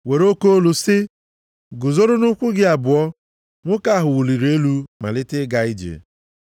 were oke olu sị, “Guzoro nʼụkwụ gị abụọ.” Nwoke ahụ wuliri elu malite ịga ije.